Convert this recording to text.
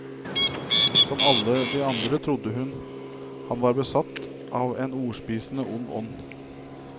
Som alle de andre trodde han hun var besatt av en ordspisende ond ånd.